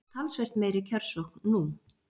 Talsvert meiri kjörsókn nú